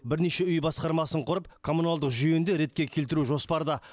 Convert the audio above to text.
бірнеше үй басқармасын құрып коммуналдық жүйені де ретке келтіру жоспарда